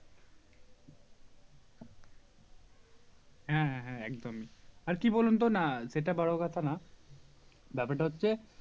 হ্যাঁ হ্যাঁ হ্যাঁ একদমই আর কি বলুন তো না সেটা বড়ো কথা না ব্যাপারটা হচ্ছে